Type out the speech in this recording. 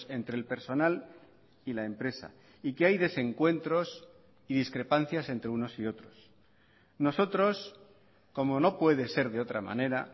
entre el personal y la empresa y que hay desencuentros y discrepancias entre unos y otros nosotros como no puede ser de otra manera